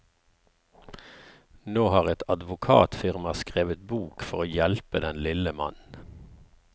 Nå har et advokatfirma skrevet bok for å hjelpe den lille mann.